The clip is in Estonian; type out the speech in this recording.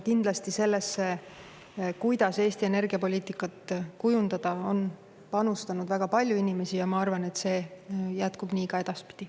Kindlasti sellesse, kuidas Eesti energiapoliitikat kujundada, on panustanud väga palju inimesi ja ma arvan, et see jätkub nii ka edaspidi.